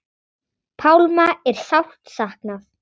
Pálma er sárt saknað.